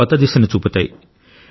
కొత్త దిశను చూపుతాయి